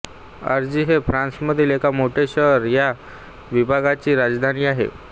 एंजी हे फ्रान्समधील एक मोठे शहर ह्या विभागाची राजधानी आहे